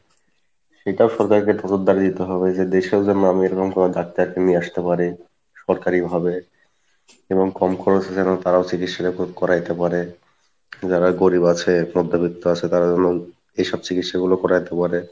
সেটা সরকারকে দিতে হবে যে দেশের যে ডাক্তার কে নিয়ে আসতে পারে সরকারি ভাবে এবং কম খরচে যেনো তারাও চিকিৎসা টা করাইতে পারে যারা গরিব আছে মধ্যবৃত্ত আছে তারা যেনো এইসব চিকিৎসা গুলো করাইতে পারে